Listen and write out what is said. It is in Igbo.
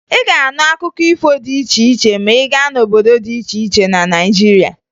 Ị ga-anụ akụkọ ifo dị iche iche ma ị gaa n'obodo dị iche iche na Naịjirịa